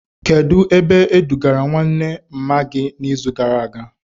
Kedụ ebe e dugara nwanne mma gị na izu gara aga?